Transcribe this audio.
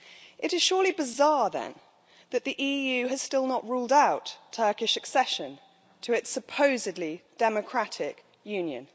It is surely bizarre then that the EU has still not ruled out Turkish accession to its supposedly democratic Union.